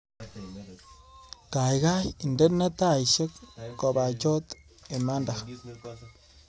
Gaigai indene taishek kobachot imanda